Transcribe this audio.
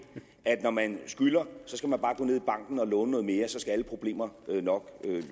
at når man skylder skal man bare gå ned i banken og låne noget mere så skal alle problemer nok